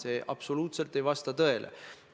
See absoluutselt ei vasta tõele.